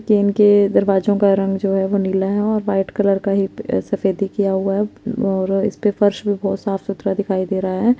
के इनके दरवाजो का रंग जो हे नीला है वो नीला है और वाईट कलर हे ए सफेद किया हुआ है और फर्स भी साफ सुथरा दिखाई दे रहा रहा है।